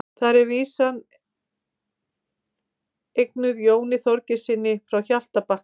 Þar er vísan eignuð Jóni Þorgeirssyni frá Hjaltabakka.